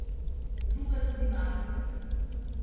Žuga tudi mafijcem.